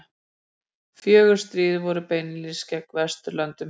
fjögur stríð voru beinlínis gegn vesturlöndum